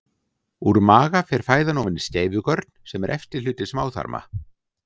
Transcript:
Úr maga fer fæðan ofan í skeifugörn sem er efsti hluti smáþarma.